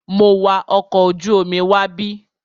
Mo wa ọkọ̀ ojú omi wábí.